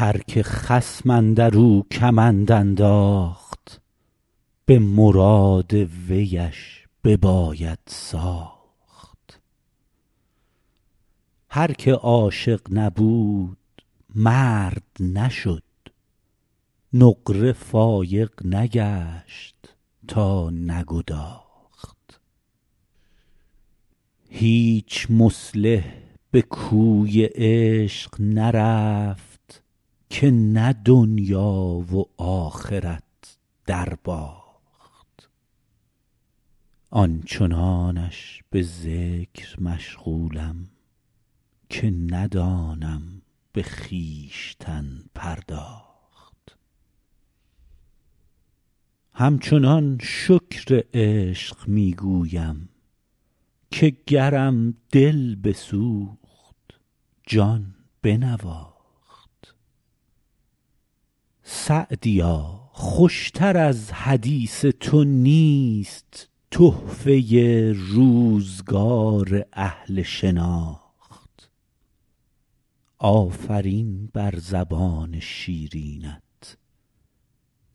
هر که خصم اندر او کمند انداخت به مراد ویش بباید ساخت هر که عاشق نبود مرد نشد نقره فایق نگشت تا نگداخت هیچ مصلح به کوی عشق نرفت که نه دنیا و آخرت درباخت آن چنانش به ذکر مشغولم که ندانم به خویشتن پرداخت همچنان شکر عشق می گویم که گرم دل بسوخت جان بنواخت سعدیا خوش تر از حدیث تو نیست تحفه روزگار اهل شناخت آفرین بر زبان شیرینت